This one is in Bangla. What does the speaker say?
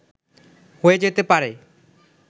হয়ে যেতে পারে